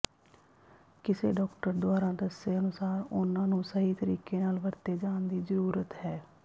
ਕਿਸੇ ਡਾਕਟਰ ਦੁਆਰਾ ਦੱਸੇ ਅਨੁਸਾਰ ਉਨ੍ਹਾਂ ਨੂੰ ਸਹੀ ਤਰੀਕੇ ਨਾਲ ਵਰਤੇ ਜਾਣ ਦੀ ਜ਼ਰੂਰਤ ਹੈ